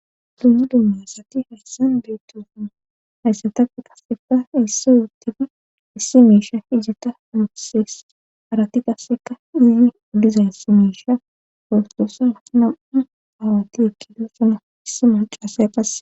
dumma dumma asatti hayssan beettosona hayssatape qasseka issoy utidi issi misha ijata mukusees aratti qasseka dhizi uddizan si meisha portosan nam7u aawatti ekkido sana issi malcaase qha